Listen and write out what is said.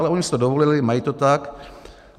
Ale oni si to dovolili, mají to tak.